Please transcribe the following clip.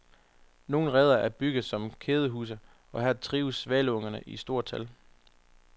Nogle reder er bygget som kædehuse, og her trives svaleunger i stort tal.